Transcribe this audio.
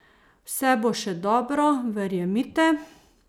Vse bo še dobro, verjemite!